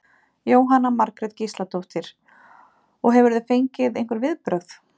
Jóhanna Margrét Gísladóttir: Og hefurðu fengið einhver viðbrögð?